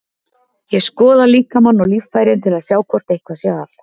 Ég skoða líkamann og líffærin til að sjá hvort eitthvað sé að.